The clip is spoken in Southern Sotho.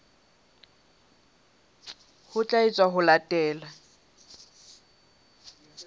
ho tla etswa ho latela